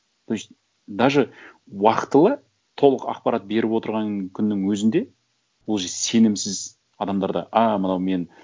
то есть даже уақытылы толық ақпарат беріп отырған күннің өзінде уже сенімсіз адамдар да а мынау мен